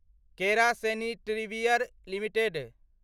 केरा sanitaryware limited